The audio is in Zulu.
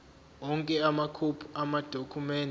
onke amakhophi amadokhumende